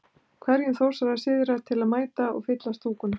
Hvetjum Þórsara syðra til að mæta og. fylla stúkuna?